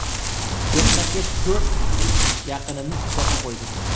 Ketma-ket to‘rt yaqinimni tuproqqa qo‘ydim.